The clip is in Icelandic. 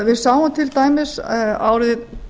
við sáum til dæmis árið